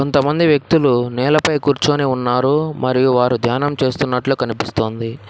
కొంత మంది వ్యక్తులు నేలపై కూర్చొని ఉన్నారు మరియు వారు ధ్యానం చేస్తున్నట్లు కనిపిస్తోంది.